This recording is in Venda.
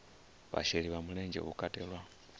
vhasheli vha mulenzhe hu katelwa